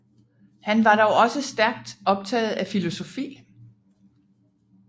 Han var dog også stærkt optaget af filosofi